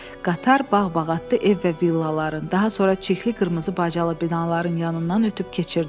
Qatar bağ-bağatlı ev və villaların, daha sonra çirkli qırmızı bacalı binaların yanından ötüb keçirdi.